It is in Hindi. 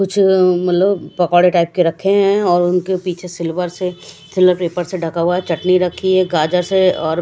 कुछ लोग पकौड़े टाइप के रखे हैं और उनके पीछे सिल्वर से सिल्वर पेपर से ढका हुआ है चटनी रखी है गाजर्स है और--